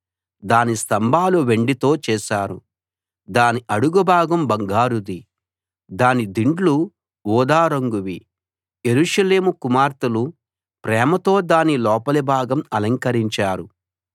దాని స్తంభాలు వెండితో చేశారు దాని అడుగుభాగం బంగారుది దాని దిండ్లు ఊదా రంగువి యెరూషలేము కుమార్తెలు ప్రేమతో దాని లోపలిభాగం అలంకరించారు